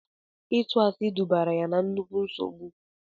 Ịtụ asị dubara ya na nnukwu nsogbu.